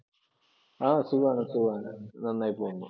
ആഹ് സുഖമാണ്, സുഖമാണ്, നന്നായി പോകുന്നു.